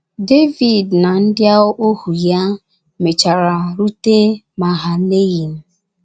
Devid na ndị ohu ya mechara rute Mahaneyim.